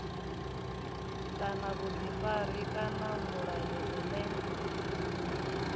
kana vhuḓifari kana mulayo une